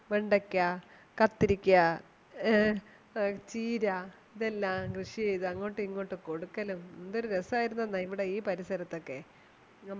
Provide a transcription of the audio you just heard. വെണ്ടയ്ക്ക കത്തിലിക്ക ഏ ചീര ഇതെല്ലം കൃഷി ചെയ്‌തു അങ്ങോട്ടു ഇങ്ങോട്ടും കൊടുക്കലും എന്ത് രാസമായിരുനെന്നോ ഈ പരിസരത്തു ഒക്കെ